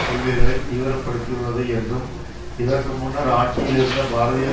கொள்கைகளை தீவிர படுத்தியுள்ளது என்றும் இதற்கு முன்னர் ஆட்சியில் இருந்த பாரதீய